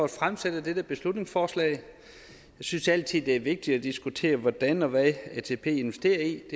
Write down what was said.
at fremsætte dette beslutningsforslag jeg synes altid det er vigtigt at diskutere hvordan og hvad atp investerer i